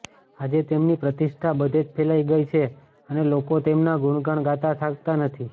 આજે તેમની પ્રતિષ્ઠા બધે જ ફેલાઇ ગઇ છે અને લોકો તેમનાં ગુણગાન ગાતાં થાકતાં નથી